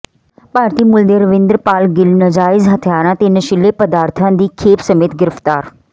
ਭਾਰਤੀ ਮੂਲ ਦੇ ਰਵਿੰਦਰਪਾਲ ਗਿੱਲ ਨਾਜਾਇਜ਼ ਹਥਿਆਰਾਂ ਤੇ ਨਸ਼ੀਲੇ ਪਦਾਰਥਾਂ ਦੀ ਖੇਪ ਸਮੇਤ ਗ੍ਰਿਫ਼ਤਾਰ